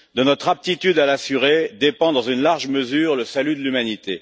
De notre aptitude à l'assurer dépend, dans une large mesure, le salut de l'humanité.